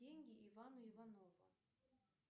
деньги ивану иванову